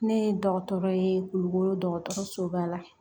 Ne ye dɔgɔtɔrɔ ye kulukoro dɔgɔtɔrɔso ba la